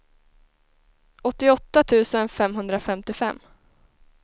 åttioåtta tusen femhundrafemtiofem